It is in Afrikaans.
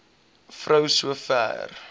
vrou so ver